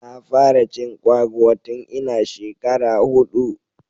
Na fara cin kwaguwa tun ina shekara hudu.